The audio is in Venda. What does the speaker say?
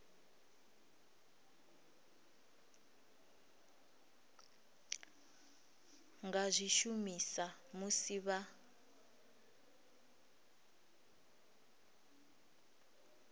nga zwi shumisa musi vha